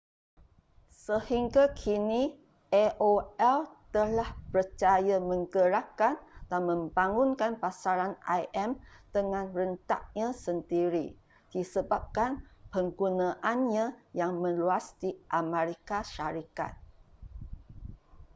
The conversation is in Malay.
sehingga kini aol telah berjaya menggerakkan dan membangunkan pasaran im dengan rentaknya sendiri disebabkan penggunaannya yang meluas di amerika syarikat